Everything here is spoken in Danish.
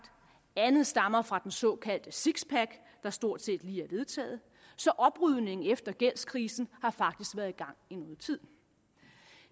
andet stammer fra den såkaldte sixpack der stort set lige er blevet vedtaget så oprydningen efter gældskrisen har faktisk været i gang i noget tid